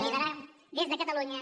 liderar des de catalunya